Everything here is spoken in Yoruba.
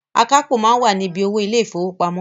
Akápò máa ń wà ni bí owó ilé ìfowópamọ́